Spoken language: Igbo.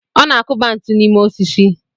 Ọ na-akụba ntu n'ime osisi.